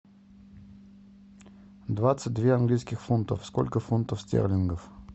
двадцать две английских фунтов сколько фунтов стерлингов